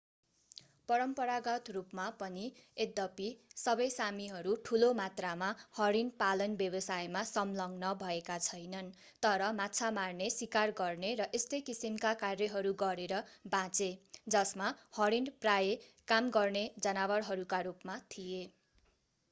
परम्परागत रूपमा पनि यद्यपि सबै सामीहरू ठूलो मात्रामा हरिण पालन व्यवसायमा संलग्न भएका छैनन् तर माछा मार्ने सिकार गर्ने र यस्तै किसिमका कार्यहरू गरेर बाँचे जसमा हरिण प्रायः काम गर्ने जनावरहरूका रूपमा थिए